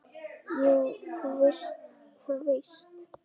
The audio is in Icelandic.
Jú, þú veist það víst.